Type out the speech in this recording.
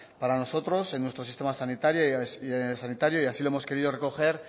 para nosotros en nuestro sistema sanitario y así lo hemos querido recoger